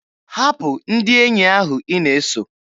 Hapụ ndị enyi ahụ ị na-eso!